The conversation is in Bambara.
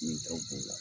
Min taw b'o la